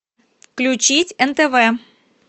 включить нтв